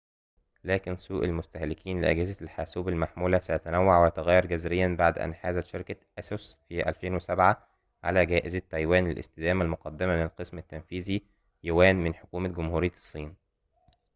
لكن سوق المستهلكين لأجهزة الحاسوب المحمولة سيتنوع ويتغير جذرياً بعد أن حازت شركة أسوس في 2007 على جائزة تايوان للاستدامة المقدمة من القسم التنفيذي يوان من حكومة جمهورية الصين